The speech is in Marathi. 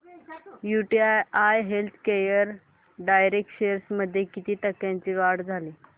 यूटीआय हेल्थकेअर डायरेक्ट शेअर्स मध्ये किती टक्क्यांची वाढ झाली